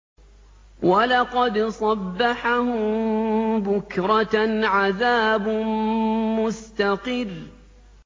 وَلَقَدْ صَبَّحَهُم بُكْرَةً عَذَابٌ مُّسْتَقِرٌّ